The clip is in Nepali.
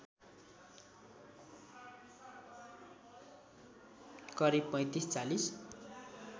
करिब ३५ ४०